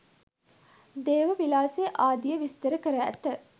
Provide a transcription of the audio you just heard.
දේහ විලාසය ආදිය විස්තර කර ඇත.